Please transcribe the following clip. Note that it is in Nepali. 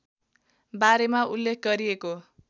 बारेमा उल्लेख गरिएको